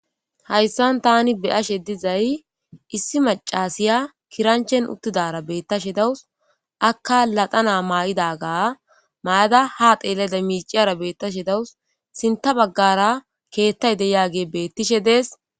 hayssan tani beyashe dizay issi macasiya kiranchen uttidara beettashe dawus akka laxana maa7idaga maada ha xeeleda miiciyara beettashe dawus sinta baggara keettay deyaage bettishe dees